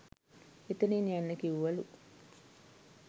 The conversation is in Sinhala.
එතනින් යන්න කිව්වලු